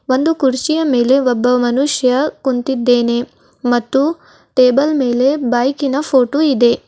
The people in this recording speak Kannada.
ಒಂದು ಕುರ್ಚಿಯ ಮೇಲೆ ಒಬ್ಬ ಮನುಷ್ಯ ಕುಂತಿದ್ದೇನೆ ಮತ್ತು ಟೇಬಲ್ ಮೇಲೆ ಬೈಕ್ ಇನ ಫೋಟೋ ಇದೆ.